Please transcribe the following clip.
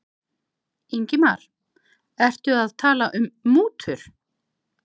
Ingimar: Ertu að tala um mútur?